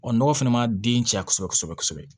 nɔgɔ fɛnɛ ma den caya kosɛbɛ kosɛbɛ